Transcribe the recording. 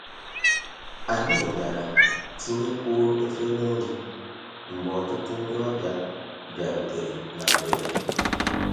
Anyị bịara tinyekwuo efere nri mgbe ọtụtụ ndị ọbịa bịarutere na mberede.